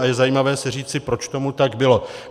A je zajímavé si říci, proč tomu tak bylo.